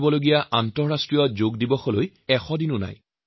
এই বছৰ ২১ জুনৰ আন্তঃৰাষ্ট্ৰীয় যোগ দিৱসলৈ আৰু ১০০ দিনো নাই